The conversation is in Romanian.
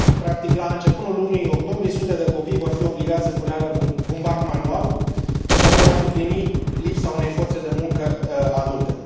Practic, la început lunii octombrie sute de copii vor fi obligați să culeagă bumbac manual pentru a suplini lipsa unei forțe de muncă adulte.